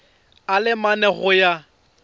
a le mane go ya